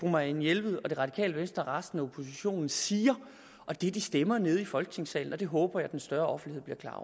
marianne jelved og det radikale venstre og resten af oppositionen siger og det de stemmer nede i folketingssalen og det håber jeg den større offentlighed bliver klar